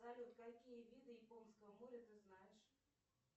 салют какие виды японского моря ты знаешь